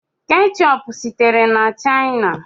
Keechup sitere na China.